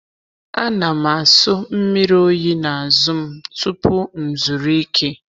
A na m aso mmiri oyi n’azụ m tupu m zuru ike.